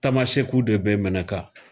Tamasɛkiw de bɛ Mɛnaka.